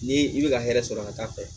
Ni i bɛ ka hɛrɛ sɔrɔ ka taa fɛ